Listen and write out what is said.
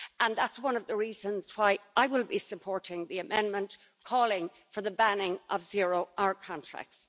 That's one of the reasons why I will be supporting the amendment calling for the banning of zero hour contracts.